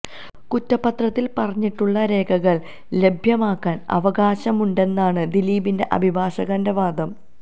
കുറ്റപത്രത്തില് പറഞ്ഞിട്ടുള്ള രേഖകള് ലഭ്യമാക്കാന് അവകാശമുണ്ടെന്നാണ് ദിലീപിന്റെ അഭിഭാഷകന്റെ വാദം